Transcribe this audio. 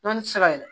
Dɔnni ti se ka